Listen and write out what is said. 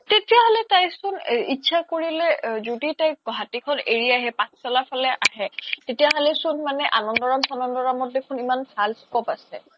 তেতিয়া হ্'লে তাই চোন ইত্চা কৰিলে য্দি তাই এৰি আহে পাথ্চালা লৈ আহে তেতিয়া হ্'লে চোন আনান্দোৰাম চানান্দোৰামত ইমান ভাল scope আছে